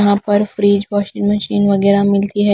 यहां पर fridge washing machine वगैरह मिलती है।